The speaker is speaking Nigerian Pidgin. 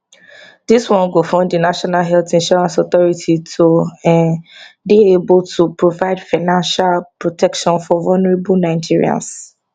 dis one go fund di national health insurance authority to um dey able to provide financial protection for vulnerable nigerians